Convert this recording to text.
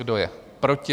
Kdo je proti?